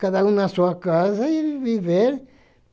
Cada um na sua casa e viver.